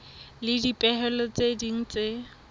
le dipehelo tse ding tse